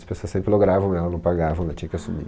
As pessoas sempre logravam ela, não pagavam, ela tinha que assumir.